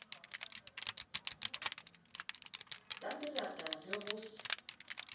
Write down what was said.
la melata le ho se